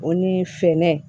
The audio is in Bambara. O ni fɛɛrɛ